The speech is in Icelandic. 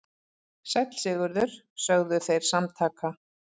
Sæll Sigurður, sögðu þeir samtaka.